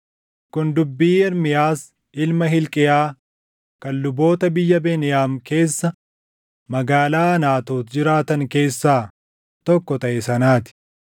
Kun dubbii Ermiyaas ilma Hilqiyaa kan luboota biyya Beniyaam keessa magaalaa Anaatoot jiraatan keessaa tokko taʼe sanaa ti.